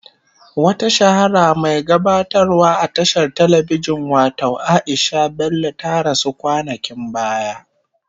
Wata shahara mai gabatarwa a tashar telebijin watau Aisha Bello ta rasu kwanakin baya.